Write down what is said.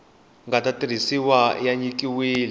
nga ta tirhisiwa ya nyikiwile